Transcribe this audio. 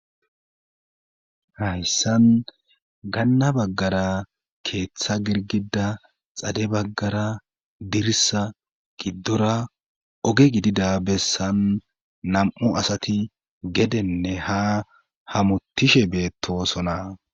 Hayssan ganna baggara keeththa girgida xade baggara dirisa giddora oge gidida bessan nam'u asati gedenne ha hamutishe beettosona